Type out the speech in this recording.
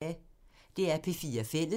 DR P4 Fælles